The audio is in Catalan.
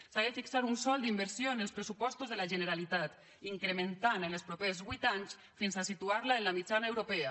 s’ha de fixar un sòl d’inversió en els pressupostos de la generalitat i incrementarlo en els propers vuit anys fins a situarlo en la mitjana europea